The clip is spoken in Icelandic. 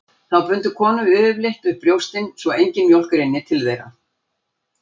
Þá bundu konur yfirleitt upp brjóstin svo engin mjólk rynni til þeirra.